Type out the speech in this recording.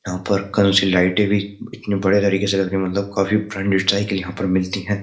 यहाँ पर कलर सी लाइटें भी इतनी बढिया तरीके से करके मतलब काफी ब्रांड स्टाइल की यहाँ पर मिलती हैं।